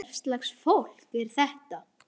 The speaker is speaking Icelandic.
Hvers lags fólk er þetta?